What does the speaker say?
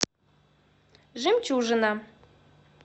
жемчужина